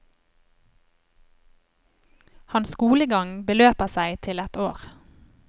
Hans skolegang beløper seg til ett år.